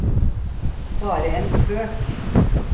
bare en spøk